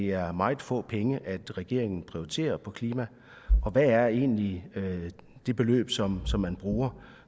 er meget få penge regeringen prioriterer på klima og hvad er egentlig det beløb som som man bruger